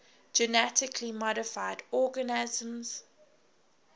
genetically modified organisms